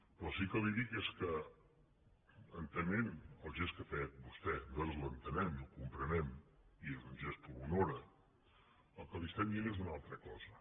però sí que li dic que entenent el gest que ha fet vostè nosaltres l’entenem i el comprenem i és un gest que l’honora el que li diem és una altra cosa